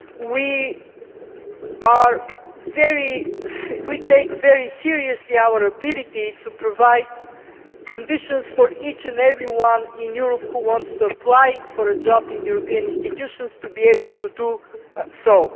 We take very seriously our ability to provide conditions for each and every person in Europe who wants to apply for a job in the European Union institutions to be able to do so.